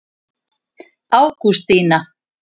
Ágústína